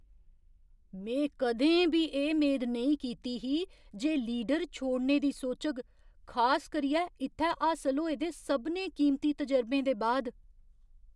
में कदें बी एह् मेद नेईं कीती ही जे लीडर छोड़ने दी सोचग, खास करियै इत्थै हासल होए दे सभनें कीमती तजुर्बें दे बाद।